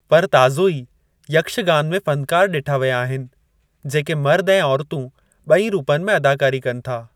पर ताज़ो ई, यक्षगान में फ़नकार डि॒ठा विया आहिनि, जेके मर्द ऐं औरतूं बे॒ई रूपनि में अदाकारी कनि था।